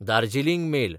Darjeeling mail